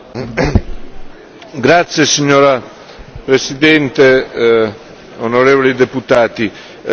Signora Presidente, onorevoli deputati, poche parole in conclusione.